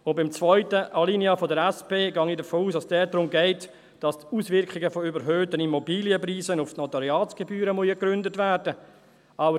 Beim zweiten Alinea der SP gehe ich davon aus, dass es darum geht, dass die Auswirkungen von überhöhten Immobilienpreisen auf die Notariatsgebühren ergründet werden müssen.